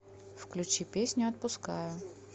включи песню отпускаю